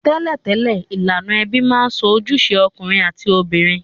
Tẹ́lẹ̀tẹ́lẹ̀, ilànà ebí ma n so ojúse okùnrin àti obìnrin